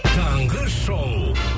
таңғы шоу